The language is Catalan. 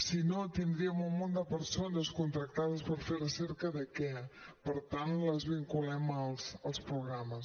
si no tindríem un munt de persones contractades per fer recerca de què per tant les vinculem als programes